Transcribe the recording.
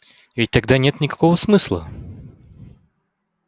ведь тогда нет никакого смысла